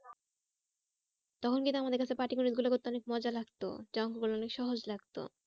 তখন কিন্তু আমাদের কাছে পাটিগণিত গুলো করতে অনেক মজা লাগতো যে অঙ্ক গুলো অনেক সহজ লাগতো।